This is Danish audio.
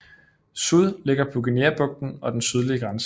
Sud ligger på Guineabrugten og den sydlige grænse